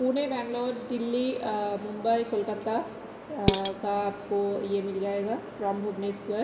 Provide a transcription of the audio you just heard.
पुने बेगलोर दिल्ली अ मुम्बई कोलकाता अ का आपको यह मिल जाऐगा फ्रॉम भुवनेश्वर।